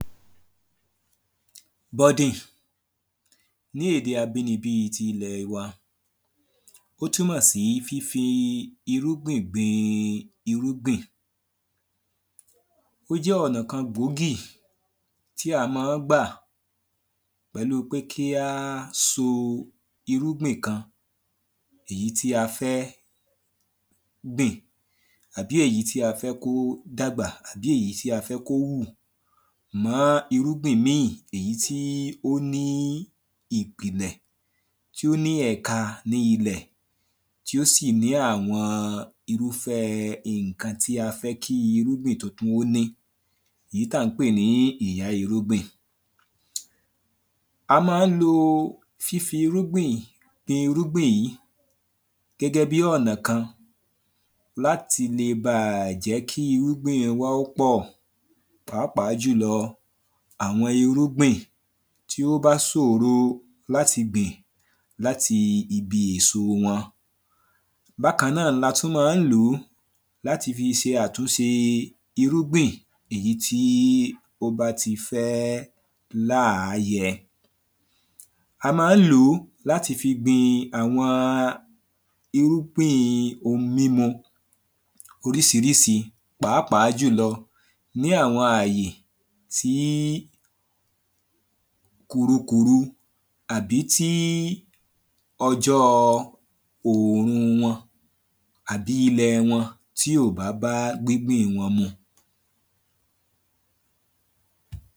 ? Ní èdè abínibí tí ilẹ̀ wa ó túnmọ̀ sí fifi irúgbìn gbin irúgbìn. Ó jẹ́ ọ̀nà kan gbòógì tí à má ń gbà pẹ̀lú pé kí á so irúgbìn kan èyí tí a fẹ́ gbìn bí èyí tí a fẹ́ kó dàgbà bí èyí tí á fẹ́ kó hù mọ́ irúgbìn mí èyí tí ó ní ìpìlẹ̀ tí ó ní ẹ̀ka ní ilẹ̀ tí ó sì ní àwọn irúfẹ́ nǹkan tí a fẹ́ kí irúgbìn tó kú ó ní èyí tá ń pè ní ìyá irúgbìn. A má ń lo fífi irúgbìn irúgbìn yìí gẹ́gẹ́ bí ọ̀nà kan láti le bá jẹ́ kí irúgbìn wa kí ó pọ̀. Pàápàá jùlọ àwọn irúgbìn tí ó bá sòro láti gbìn láti ibi èso wọn. Bákan náà la tún má ń lò láti fi ṣe àtúnṣe irúgbìn èyí tí ó bá ti fẹ́ láà yẹ. A má ń lò ó láti fi gbin àwọn irúgbìn ohun mímu orísirísi pàápàá jùlọ ní àwọn àyè tí kùrukùru àbí tí ọjọ́ òòrùn wọn àbí ilẹ̀ wọn tí ò bá bá gbín gbìn wọn mu.